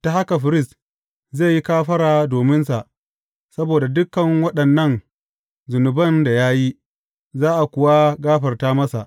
Ta haka firist zai yi kafara dominsa saboda dukan waɗannan zunuban da ya yi, za a kuwa gafarta masa.